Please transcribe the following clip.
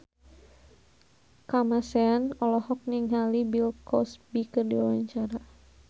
Kamasean olohok ningali Bill Cosby keur diwawancara